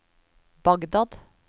Bagdad